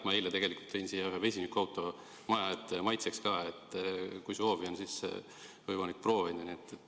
Ma annan ka vihje: eile tõin siia maja ette n-ö maitseks ühe vesinikuauto, kui soovi on, siis on võimalik seda proovida.